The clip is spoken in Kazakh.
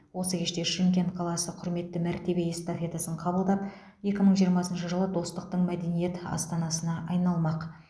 осы кеште шымкент қаласы құрметті мәртебе эстафетасын қабылдап екі мың жиырмасыншы жылы достықтың мәдениет астанасына айналмақ